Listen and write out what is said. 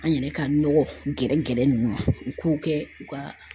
An yɛrɛ ka nɔgɔ gɛrɛ gɛrɛ ninnu ma u k'u kɛ u ka